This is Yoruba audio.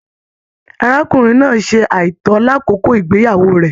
Arákùnrin náà ṣe aitọ l'akoko igbeyawo rẹ.